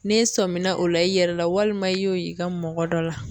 N'e sɔmina o la i yɛrɛ la walima i y'o y'i ka mɔgɔ dɔ la.